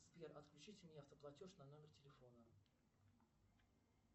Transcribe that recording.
сбер отключите мне автоплатеж на номер телефона